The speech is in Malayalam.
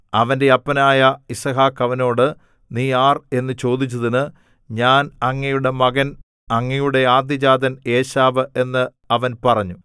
അവന്റെ അപ്പനായ യിസ്ഹാക്ക് അവനോട് നീ ആർ എന്നു ചോദിച്ചതിന് ഞാൻ അങ്ങയുടെ മകൻ അങ്ങയുടെ ആദ്യജാതൻ ഏശാവ് എന്ന് അവൻ പറഞ്ഞു